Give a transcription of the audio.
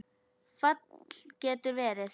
Fall getur verið